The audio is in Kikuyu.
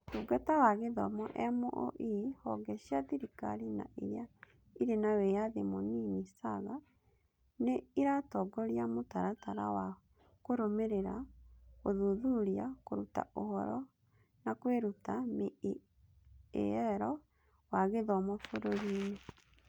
Ũtungata wa Gĩthomo (MoE) Honge cia thirikari na iria ĩrĩ na wĩyathi mũnini (SAGA), nĩ ĩratongoria mũtaratara wa Kũrũmĩrĩra, Gũthuthuria, Kũruta Ũhoro, na Kwĩruta (MEAL) wa gĩthomo bũrũriinĩ.